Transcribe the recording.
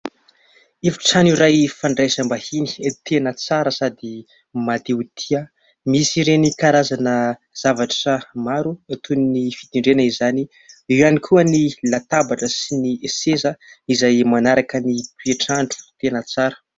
Efitrano iray fandraisambahiny tena tsara sady mahatehotia. Misy ireny karazana zavatra maro toy ny fitendrena izany. Eo ihany koa ny latabatra sy ny seza izay manaraka ny toetr'andro tena tsara.